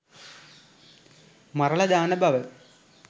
මරලා දාන බව